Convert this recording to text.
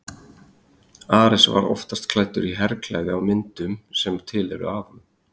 ares var oftast klæddur í herklæði á myndum sem til eru af honum